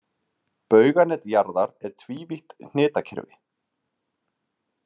Bauganet jarðar er tvívítt hnitakerfi.